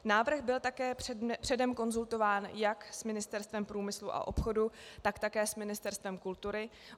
Návrh byl také předem konzultován jak s Ministerstvem průmyslu a obchodu, tak také s Ministerstvem kultury.